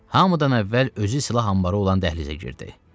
Hamıdan əvvəl özü silah anbarı olan dəhlizə girdi.